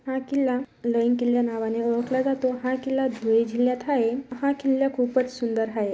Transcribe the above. हा किल्ला लळींग किल्ला नावाने ओळखला जातो हा किल्ला धुळे जिल्ह्यात हाये हा किल्ला खूपच सुंदर हाये.